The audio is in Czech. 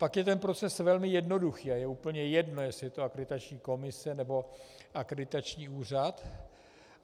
Pak je ten proces velmi jednoduchý a je úplně jedno, jestli je to Akreditační komise, nebo akreditační úřad.